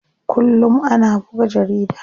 Kullum ana buga jarida.